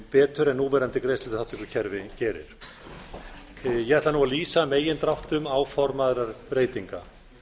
betur en núverandi greiðsluþátttökukerfi gerir ég ætla nú að lýsa megindráttum áformaðra breytinga